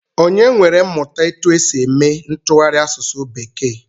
Onye nwere mmụta etu e si eme ntụgharị asụsụ bekee?